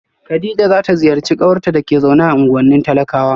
kadija za ta ziyarci kawarta da ke zaune a unguwannin talakawa